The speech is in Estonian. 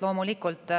Loomulikult,